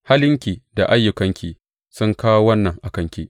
Halinki da ayyukanki sun kawo wannan a kanki.